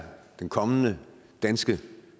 den kommende danske